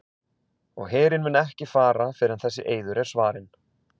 Og herinn mun ekki fara fyrr en þessi eiður er svarinn.